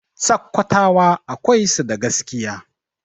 Sakkwatawa akwai su da gaskiya.